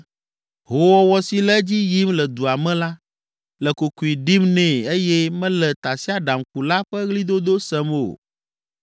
Hoowɔwɔ si le edzi yim le dua me la le kokoe ɖim nɛ eye mele tasiaɖamkula ƒe ɣlidodo sem o.